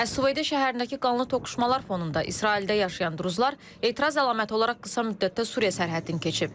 Əs-Süveydə şəhərindəki qanlı toqquşmalar fonunda İsraildə yaşayan Druzi əhalisi etiraz əlaməti olaraq qısa müddətdə Suriya sərhədini keçib.